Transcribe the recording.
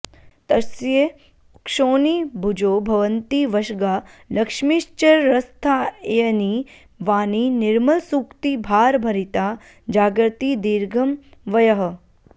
तस्य क्षोणिभुजो भवन्ति वशगा लक्ष्मीश्चिरस्थायिनी वाणी निर्मलसूक्तिभारभरिता जागर्ति दीर्घं वयः